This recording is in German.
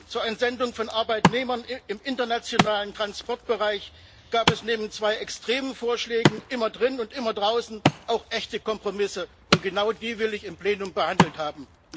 Zur Entsendung von Arbeitnehmern im internationalen Transportbereich gab es neben zwei extremen Vorschlägen immer drinnen und immer draußen auch echte Kompromisse, und genau die will ich im Plenum behandelt haben.